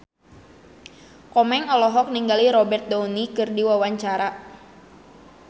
Komeng olohok ningali Robert Downey keur diwawancara